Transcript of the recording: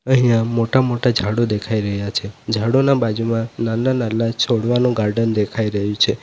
અહીંયા મોટા-મોટા ઝાડો દેખાઈ રહ્યા છે ઝાડોના બાજુમાં નાલ્લા-નાલ્લા છોડવાનો ગાર્ડન દેખાઈ રહ્યો છે.